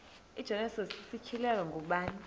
igenesis isityhilelo ngubani